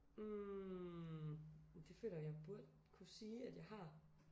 Hm det føler jeg at jeg burde kunne sige at jeg har